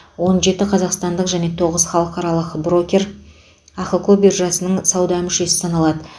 он жеті қазақстандық және тоғыз халықаралық брокер ахқо биржасының сауда мүшесі саналады